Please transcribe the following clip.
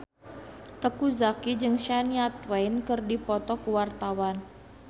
Teuku Zacky jeung Shania Twain keur dipoto ku wartawan